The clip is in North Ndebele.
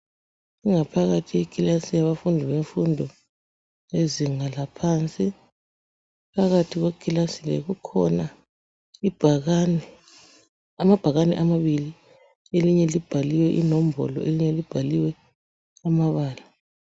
Ingaphakathi yekilasi yabafundi bemfundo yezinga laphansi. Phakathi kwekilasi le kukhona amabhakani amabili. Elinye libhaliwe inombolo, elinye libhaliwe amabala.